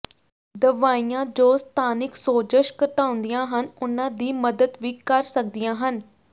ਦਵਾਈਆਂ ਜੋ ਸਥਾਨਿਕ ਸੋਜਸ਼ ਘਟਾਉਂਦੀਆਂ ਹਨ ਉਨ੍ਹਾਂ ਦੀ ਮਦਦ ਵੀ ਕਰ ਸਕਦੀਆਂ ਹਨ